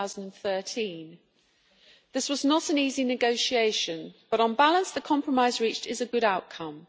2013. This was not an easy negotiation, but on balance the compromise reached is a good outcome.